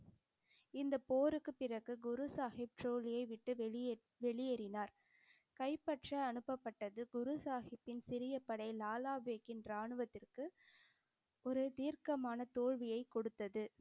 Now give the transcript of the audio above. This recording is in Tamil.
இந்தப் போருக்குப் பிறகு குரு சாஹிப் விட்டு வெளியே~ வெளியேறினார். கைப்பற்ற அனுப்பப்பட்டது குருசாஹிப்பின் சிறிய படை லாலா பேக்கின் ராணுவத்திற்கு ஒரு தீர்க்கமான தோல்வியைக் கொடுத்தது.